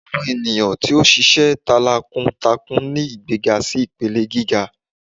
awọn eniyan ti o ṣiṣẹ talákúntákún ni igbegá si ipelẹ gigá